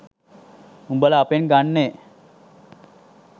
උබල අපෙන් ගන්නේ